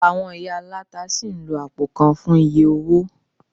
Àwọn ìyá aláta sì ń lo àpò kan fún oye owó